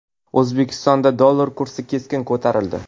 O‘zbekistonda dollar kursi keskin ko‘tarildi.